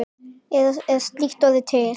Eða er slíkt orð til?